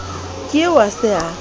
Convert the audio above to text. ke eo a se a